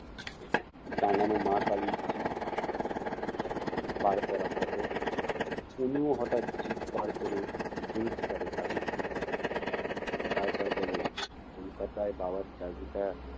টাঙানো মা কালীর জিভ বাড় করা photo তনুও হঠাৎ জিভ বাড় করে ভেংচি কাটে ঠাকুরকে। তারপর বলে কলকাতায় বাবার চাকরিটা